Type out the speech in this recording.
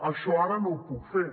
això ara no ho puc fer